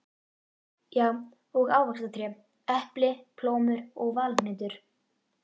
Já, og ávaxtatré: epli, plómur og valhnetur.